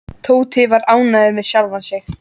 Tóti var ánægður með sjálfan sig.